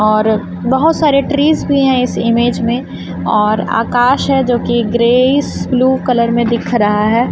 और बहुत सारे ट्रीस भी हैं इस इमेज में और आकाश है जो कि ग्रे स ब्लू कलर में दिख रहा है।